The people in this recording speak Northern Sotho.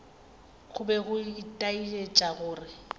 go be go itaetša gore